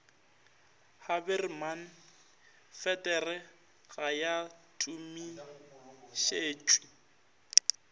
haberman feeder ga ya tumišetšwe